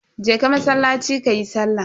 Je ka masallaci kayi sallah.